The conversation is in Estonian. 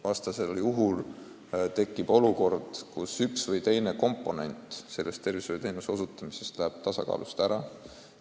Vastasel juhul tekiks olukord, kus üks või teine arstiabi tagamise komponent läheb tasakaalust ära.